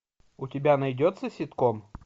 у тебя найдется ситком